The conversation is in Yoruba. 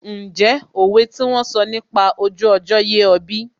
Ǹjẹ́ òwe tí wón sọ nípa ojú ọjọ́ yé ọ bí?